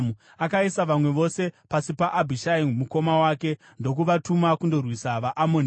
Akaisa vamwe vose pasi paAbhishai mukoma wake ndokuvatuma kundorwisa vaAmoni.